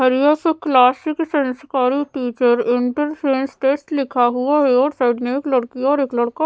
classic संस्कारी teacher interference test लिखा हुआ है और साइड में एक लड़की और एक लड़का--